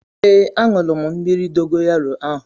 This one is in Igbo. Ee aṅụrụ m mmírí dogoyaro ahu